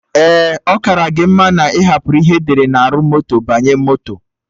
Ee, ọ kara gị mma na ị hapụrụ ihe edere na arụ moto banye moto